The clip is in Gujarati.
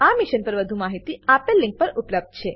આ મિશન પર વધુ જાણકારી આપેલ લીંક પર ઉપબ્ધ છે